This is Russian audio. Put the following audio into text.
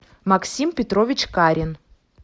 максим петрович карин